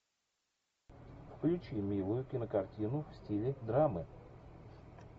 включи милую кинокартину в стиле драмы